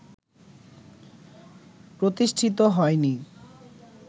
প্রতিষ্ঠিত হয় নি